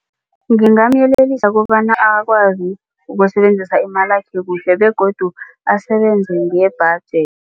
Ngingamyelelisa kobana akwazi ukusebenzisa imalakhe kuhle begodu asebenze